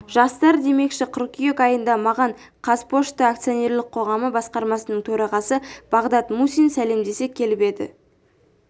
жастар демекші қыркүйек айында маған қазпошта акционерлік қоғамы басқармасының төрағасы бағдат мусин сәлемдесе келіп еді